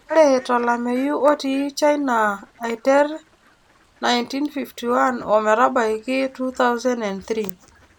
ore tolameyu otiii china aiter 1951 o metabaik 2003